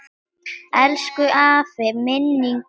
Elsku afi, minning þín lifir.